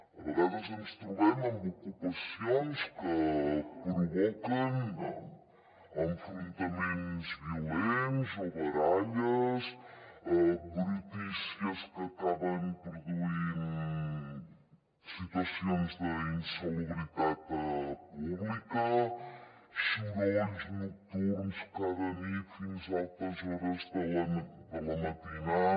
a vegades ens trobem amb ocupacions que provoquen enfrontaments violents o baralles brutícies que acaben produint situacions d’insalubritat pública sorolls nocturns cada nit fins a altes hores de la matinada